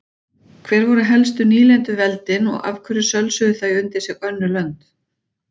Hver voru helstu nýlenduveldin og af hverju sölsuðu þau undir sig önnur lönd?